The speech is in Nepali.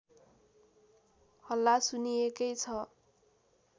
हल्ला सुनिएकै छ